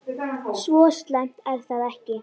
Svo slæmt er það ekki.